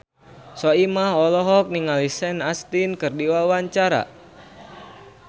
Soimah olohok ningali Sean Astin keur diwawancara